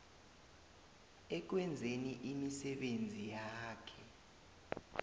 ekwenzeni imisebenzi yakhe